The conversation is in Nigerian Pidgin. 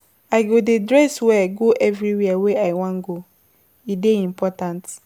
I go dey dress well go everywhere wey I wan go, e dey important.